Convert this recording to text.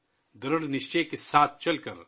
درِڑھ نِشچے کے ساتھ چل کر